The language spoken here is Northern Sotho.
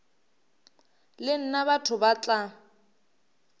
le nna batho ba tla